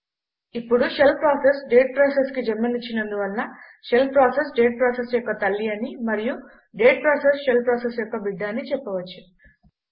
ఇప్పుడు shell process date ప్రాసెస్కి జన్మనిచ్చినందు వలన షెల్ ప్రాసెస్ డేట్ ప్రాసెస్ యొక్క తల్లి అని మరియు డేట్ ప్రాసెస్ షెల్ ప్రాసెస్ యొక్క బిడ్డ అని చెప్పవచ్చు